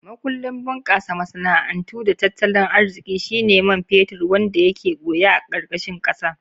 Makullin bunkasa masana'antu da tattalin arziki shine man fetur wanda yake boye a karkashin kasa.